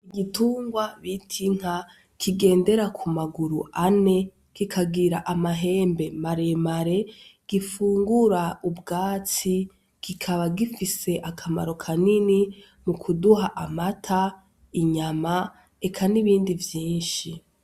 Igitungwa bita Inka kigendera kumaguru ane kikagira amahembe maremare gifungura ubwatsi kikaba gifise akamaro kanini mukuduha amata, inyama Eka n'ibindi vyinshi.